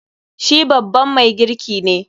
Shi babban mai girki ne.